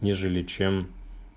нежели чем